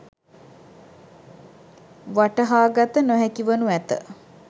වටහා ගත නොහැකි වනු ඇත